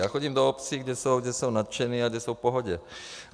Já chodím do obcí, kde jsou nadšeni a kde jsou v pohodě.